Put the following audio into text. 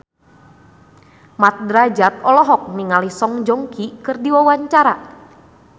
Mat Drajat olohok ningali Song Joong Ki keur diwawancara